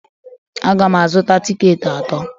Aga m azụta tikeeti atọ